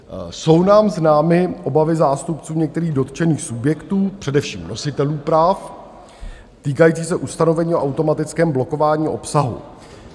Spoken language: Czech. Jsou nám známy obavy zástupců některých dotčených subjektů, především nositelů práv týkajících se ustanovení o automatickém blokování obsahu.